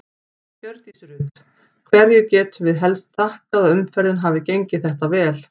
Hjördís Rut: Hverju getum við helst þakkað að umferðin hafi gengið þetta vel?